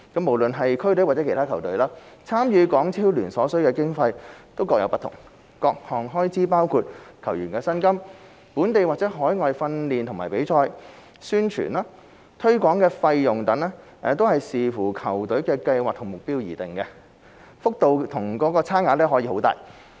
無論是區隊或其他球隊，參與港超聯所需的經費各有不同，各項開支包括球員薪金、本地或海外訓練及比賽、宣傳及推廣費用等均視乎球隊的計劃和目標而定，幅度和差距可以很大。